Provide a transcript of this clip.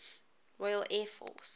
royal air force